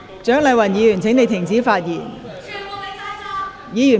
蔣麗芸議員，請停止發言。